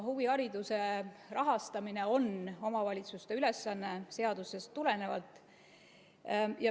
Huvihariduse rahastamine on seadusest tulenevalt omavalitsuste ülesanne.